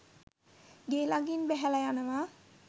ගේ ළඟින් බැහැලා යනවා.